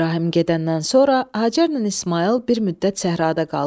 İbrahim gedəndən sonra Hacərlə İsmayıl bir müddət səhrada qaldılar.